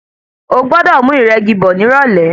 O gbọ́dọ̀ mú ìrẹ́gi bọ̀ ní ìrọ̀lẹ̀.